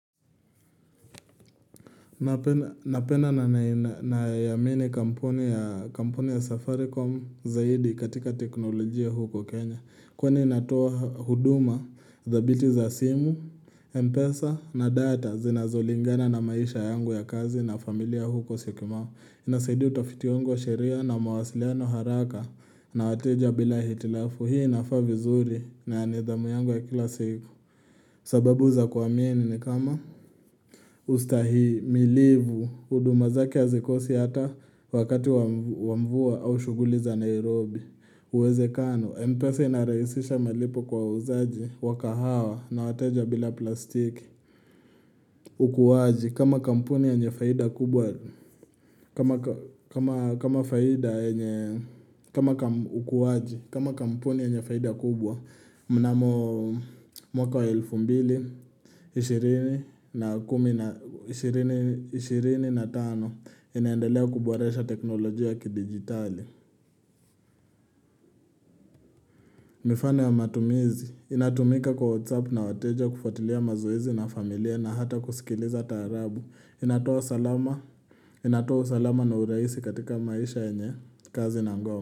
Napenda na naiamini kampuni ya safaricom zaidi katika teknolojia huku Kenya Kwani inatoa huduma, thabiti za simu, mpesa na data zinazolingana na maisha yangu ya kazi na familia huko syokimau Inasaidi utafiti wangu wa sheria na mawasiliano haraka na wateja bila hitilafu hii inafaa vizuri na nidhamu yangu ya kila siku sababu za kuamini ni kama ustahimilivu, huduma zake hazikosi hata wakati wa mvua au shughuli za Nairobi. Uwezekano, mpesa inarahisisha malipo kwa wauzaji, wakahawa na wateja bila plastiki. Kama kampuni yenye faida kubwa, mnamo mwaka wa elfu mbili, ishirini na kumi na ishirini tano, inaendelea kuboresha teknolojia ya kidigitali. Mifano ya matumizi, inatumika kwa WhatsApp na wateja kufuatilia mazoezi na familia na hata kusikiliza taarabu. Inatoa salama inatoa usalama na uraisi katika maisha yenye kazi na ngao.